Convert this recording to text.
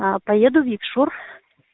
а поеду в якшур